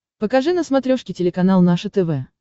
покажи на смотрешке телеканал наше тв